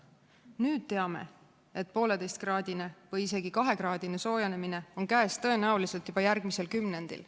Nüüd teame, et 1,5-kraadine või isegi 2-kraadine soojenemine on käes tõenäoliselt juba järgmisel kümnendil.